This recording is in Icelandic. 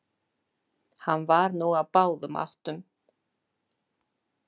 Hann var nú á báðum áttum.